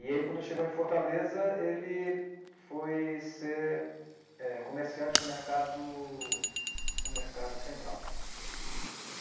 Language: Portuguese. E ele, quando chegou em Fortaleza, ele foi ser eh comerciante no mercado no mercado central.